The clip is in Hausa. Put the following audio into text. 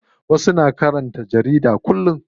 Wasu na karanta jarida kullum.